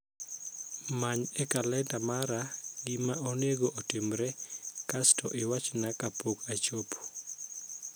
Many e kalenda mara gima onego otimre kasto iwachna kapok ochopo.